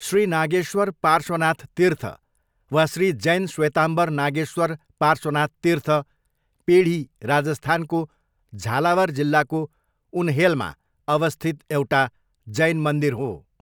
श्री नागेश्वर पार्श्वनाथ तीर्थ वा श्री जैन श्वेताम्बर नागेश्वर पार्श्वनाथ तीर्थ पेढी राजस्थानको झालावार जिल्लाको उनहेलमा अवस्थित एउटा जैन मन्दिर हो।